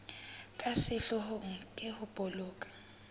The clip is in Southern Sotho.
ka sehloohong ke ho boloka